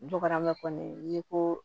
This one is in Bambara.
N dɔgɔma kɔni n ye ko